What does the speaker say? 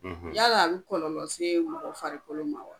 Yala a bɛ kɔlɔlɔ se mɔgɔ farikolo ma wa?